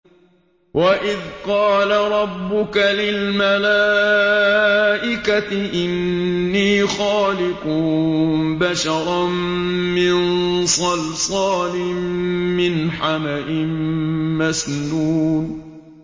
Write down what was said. وَإِذْ قَالَ رَبُّكَ لِلْمَلَائِكَةِ إِنِّي خَالِقٌ بَشَرًا مِّن صَلْصَالٍ مِّنْ حَمَإٍ مَّسْنُونٍ